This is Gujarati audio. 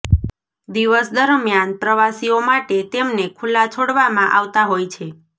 દિવસ દરમિયાન પ્રવાસીઓ માટે તેમને ખુલ્લા છોડવામાં આવતા હોય છે